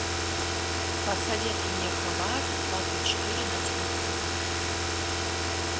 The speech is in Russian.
посоветуй мне хабар двадцать четыре на телевизоре